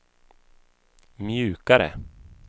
mjukare